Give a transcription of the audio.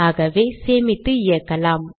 ஆகவே சேமித்து இயக்கலாம்